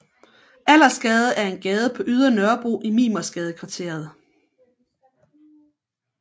Allersgade er en gade på Ydre Nørrebro i Mimersgadekvarteret